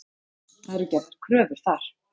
Það eru gerðar kröfur þar.